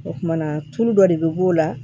O kumana tulu dɔ de bɛ b'o la